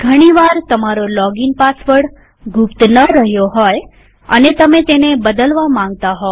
ઘણી વાર તમારો લોગીન પાસવર્ડ ગુપ્ત ન રહ્યો હોય અને તમે તેને બદલવા માંગતા હોવ